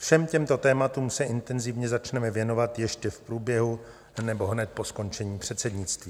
Všem těmto tématům se intenzivně začneme věnovat ještě v průběhu nebo hned po skončení předsednictví.